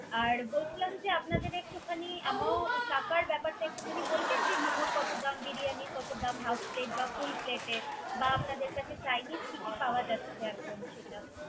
আর বলছিলাম কি? যে আম একটু খানি amount টাকার ব্যাপারটা একটু খানি বলবেন। যে মেমোটা কত দাম, বিরিয়ানির কত দাম, half plate বা full plate এর বা আপনাদের এখানে chinese কি কি পাওয়া যাচ্ছে।